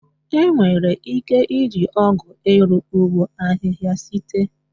Enwere ike iji ọgụ iru ụgbọ ahịhịa site.